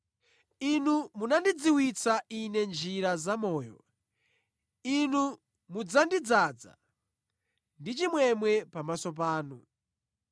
Inu munandidziwitsa ine njira zamoyo; Inu mudzandidzaza ndi chimwemwe pamaso panu.’